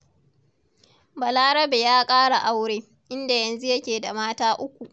Balarabe ya ƙara aure, inda yanzu yake da mata uku.